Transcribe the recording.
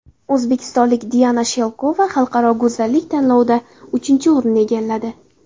O‘zbekistonlik Diana Shelkova xalqaro go‘zallik tanlovida uchinchi o‘rinni egalladi.